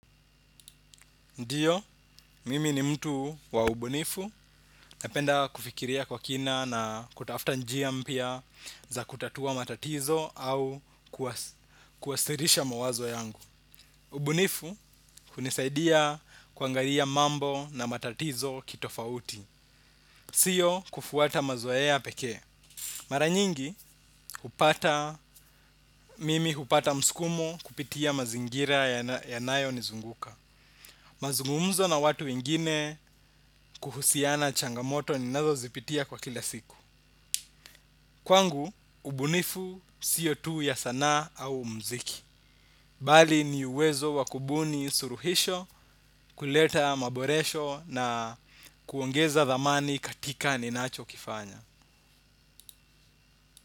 Ndio, mimi ni mtu waubunifu. Napenda kufikiria kwa kina na kutafuta njia mpya za kutatua matatizo au kuwasirisha mawazo yangu. Ubunifu hunisaidia kuangalia mambo na matatizo kitofauti. Sio kufuata mazoea pekee. Maranyingi, mimi hupata mskumo kupitia mazingira ya nayo nizunguka. Mazungumzo na watu wengine kuhusiana changamoto ni nazo zipitia kwa kila siku. Kwangu, ubunifu, sio tu ya sanaa au mziki. Bali ni uwezo wakubuni suruhisho, kuleta maboresho na kuongeza dhamani katika ni nacho kifanya.